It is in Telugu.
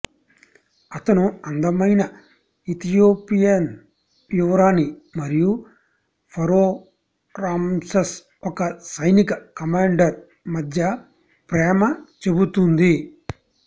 అతను అందమైన ఇథియోపియన్ యువరాణి మరియు ఫరొహ్ రామ్సెస్ ఒక సైనిక కమాండర్ మధ్య ప్రేమ చెబుతుంది